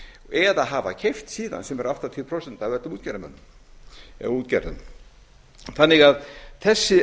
eða hafa keypt síðan sem er áttatíu prósent af öllum útgerðarmönnum eða útgerðum þessi